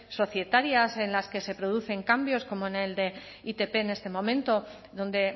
societarias en las que se producen cambios como en el de itp en este momento donde